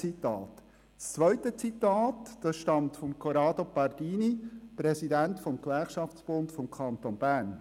das zweite Zitat stammt von Corrado Pardini, er ist Präsident des Gewerkschaftsbundes des Kantons Bern: